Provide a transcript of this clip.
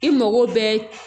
I mago bɛ